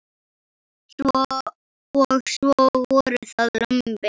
Og svo voru það lömbin.